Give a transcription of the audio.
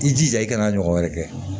I jija i kana ɲɔgɔn wɛrɛ kɛ